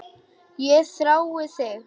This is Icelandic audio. Ég þrái þig